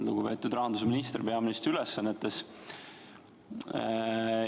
Lugupeetud rahandusminister peaministri ülesannetes!